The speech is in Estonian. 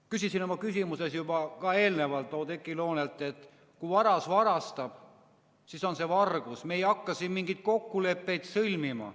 Ütlesin enne oma küsimuses Oudekki Loonele, et kui varas varastab, siis see on vargus ja me ei hakka siin mingeid kokkuleppeid sõlmima.